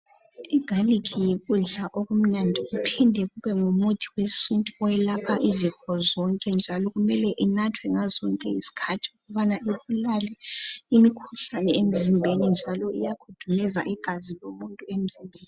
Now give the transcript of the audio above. Igalikhi yikudla okumnandi kuphinde kube ngumuthi wesintu oyelapha izifo zonke njalo kumele inathwe ngazo zonke izikhathi ukubana ibulale imikhuhlane emizimbeni njalo iyakhudumeza igazi lomuntu emzimbeni.